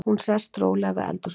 Hún sest rólega við eldhúsborðið.